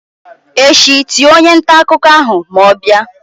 echi tie onye nta akuko ahu ma o bia!